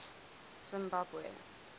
zimbabwe